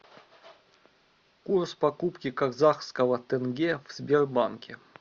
курс покупки казахского тенге в сбербанке